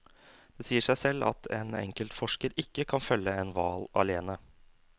Det sier seg selv at en enkelt forsker ikke kan følge en hval alene.